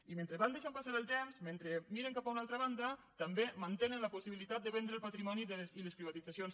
i mentre van deixant passar el temps mentre miren cap a una altra banda també mantenen la possibilitat de vendre el patrimoni i les privatitzacions